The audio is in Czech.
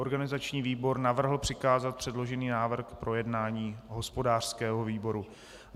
Organizační výbor navrhl přikázat předložený návrh k projednání hospodářskému výboru.